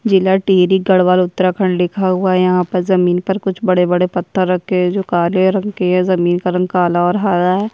जिला टिहरी गडवाल उत्तराखंड लिखा हुआ है यहाँ पर जमीन पर कुछ बड़े-बड़े पत्थर रखे हैं जो काले रंग के हैं जमीन का रंग काला और हरा है।